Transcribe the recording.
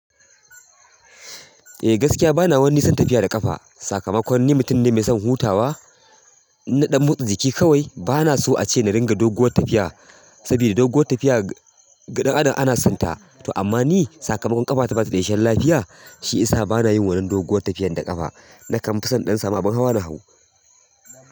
Eh gaskiya bana wani son tafiya da ƙafa. Sakamakon ni mutum ne mai son hutawa, inna dan motsa jiki kawai. Bana so a ce na ringa doguwar tafiya sabida doguwar tafiya ga dan adam ana sonta. To amma ni sakamakon ƙafata bata da isheshen lafiya, shiyisa bana yin wannan doguwar tafiyar da ƙafa. Na kan fison na ɗan sama abin hawa na hau.